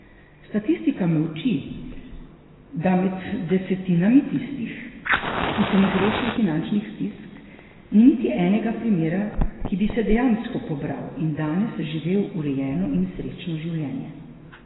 Statistika me uči, da med desetinami tistih, ki sem jih rešil finančnih stisk, ni niti enega primera, ki bi se dejansko pobral in danes živel urejeno in srečno življenje.